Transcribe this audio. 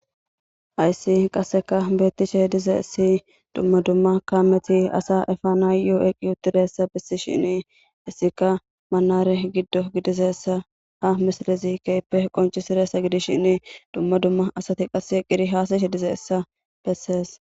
Hayssi qasseka beettishe dize issi dumma dumma kaameti asa efanayyoo eqqi utiressa bissi shinni issika manare giddo gidizessa ha misilizi keype qonchi siressa gidishinni dumma dumma asati qas eqqiri haasashe dize essa bessees